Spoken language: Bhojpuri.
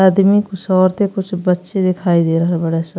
आदमी कुछ औरते कुछ बच्चे दिखाई दे रहल बाड़े स।